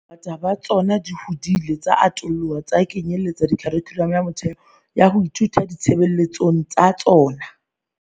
Bongata ba tsona di hodile tsa atoloha tsa kenyeletsa kharikhulamo ya motheo ya ho ithuta di tshebeletsong tsa tsona.